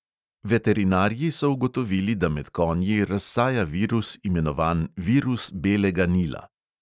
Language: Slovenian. Veterinarji so ugotovili, da med konji razsaja virus, imenovan virus belega nila.